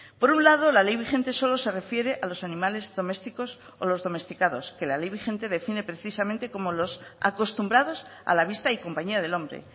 por un lado la ley vigente solo se refiere a los animales domésticos o los domesticados que la ley vigente define precisamente como los acostumbrados a la vista y compañía del hombre